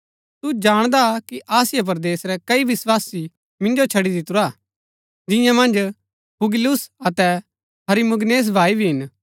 तू जाणदा कि आसिया परदेस रै कई विस्वासी मिन्जो छडी दितुरा हा जिआं मन्ज फूगिलुस अतै हिरमुगिनेस भाई भी हिन